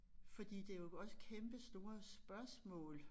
Fordi det jo også kæmpestore spørgsmål